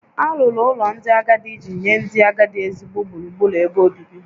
Alụrụ ụlọ ndị agadi iji nye ndị agadi ezigbo gburugburu ebe obibi